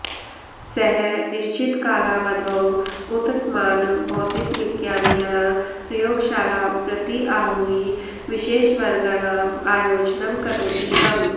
सः निश्चितकालावधौ उत्तमान् भौतिकविज्ञानिनः प्रयोगशालां प्रति आहूय विशेषवर्गाणाम् आयोजनं करोति स्म